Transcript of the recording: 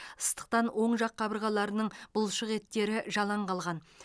ыстықтан оң жақ қабырғаларының бұлшықеттері жалаң қалған